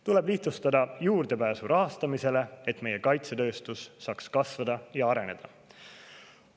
Tuleb lihtsustada juurdepääsu rahastamisele, et meie kaitsetööstus saaks kasvada ja areneda.